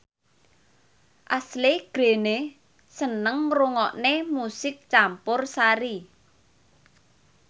Ashley Greene seneng ngrungokne musik campursari